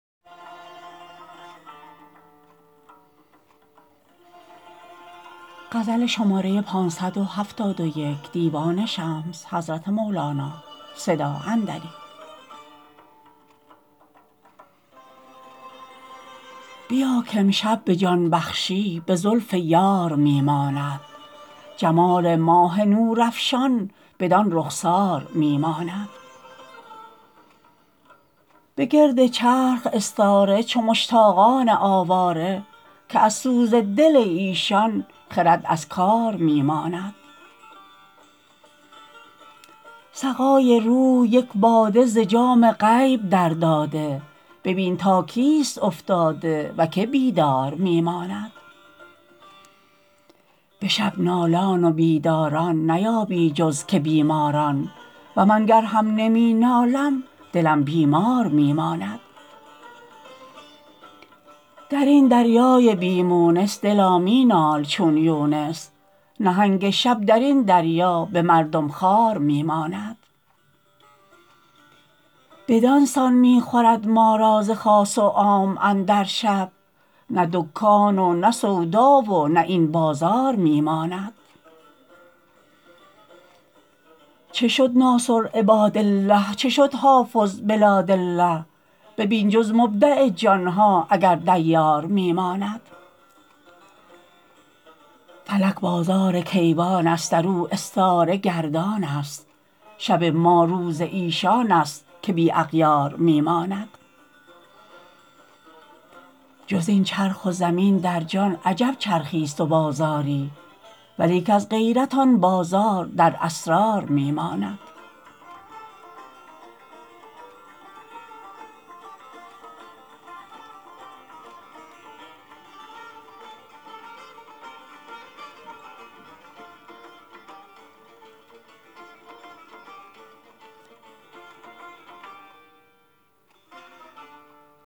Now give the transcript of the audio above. بیا کامشب به جان بخشی به زلف یار می ماند جمال ماه نورافشان بدان رخسار می ماند به گرد چرخ استاره چو مشتاقان آواره که از سوز دل ایشان خرد از کار می ماند سقای روح یک باده ز جام غیب درداده ببین تا کیست افتاده و کی بیدار می ماند به شب نالان و بیداران نیابی جز که بیماران و من گر هم نمی نالم دلم بیمار می ماند در این دریای بی مونس دلا می نال چون یونس نهنگ شب در این دریا به مردم خوار می ماند بدان سان می خورد ما را ز خاص و عام اندر شب نه دکان و نه سودا و نه این بازار می ماند چه شد ناصر عبادالله چه شد حافظ بلادالله ببین جز مبدع جان ها اگر دیار می ماند فلک بازار کیوانست در او استاره گردان است شب ما روز ایشانست که بی اغیار می ماند جز این چرخ و زمین در جان عجب چرخیست و بازاری ولیک از غیرت آن بازار در اسرار می ماند